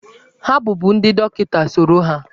Ha bụbu ndị dọkịta, soro ha!